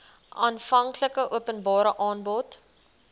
aanvanklike openbare aanbod